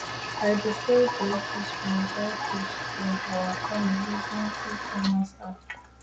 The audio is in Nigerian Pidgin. i dey sell dry fish from dry fish from our pond using ecommerce app